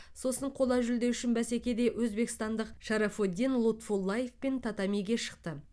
сосын қола жүлде үшін бәсекеде өзбекстандық шарафоддин лутфуллаевпен татамиге шықты